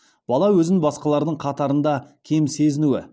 бала өзін басқалардың қатарында кем сезінуі